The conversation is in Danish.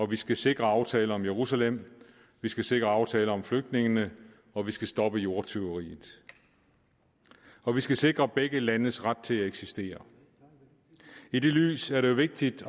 vi skal sikre aftaler om jerusalem vi skal sikre aftaler om flygtningene og vi skal stoppe jordtyveriet og vi skal sikre begge landes ret til at eksistere i det lys er det jo vigtigt